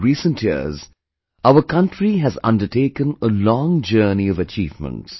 In recent years, our country has undertaken a long journey of achievements